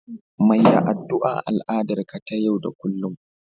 Mai da addu'a al'adar ka ta yau da kullun